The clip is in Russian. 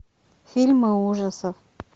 фильмы ужасов